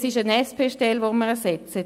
Es ist eine SP-Stelle, die wir ersetzen.